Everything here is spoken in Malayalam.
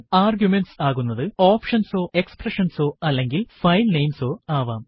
ആർഗ്യുമെന്റ്സ് ആകുന്നതു ഓപ്ഷൻസ് ഓ എക്സ്പ്രഷൻസ് ഓ അല്ലെങ്കിൽ ഫൈൽ നെയിംസ് ഓ ആവാം